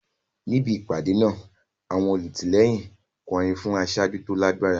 Níbi ìpàdé náà, àwọn olùtìlẹ́yìn ń kọrin fún aṣáájú tó lágbára.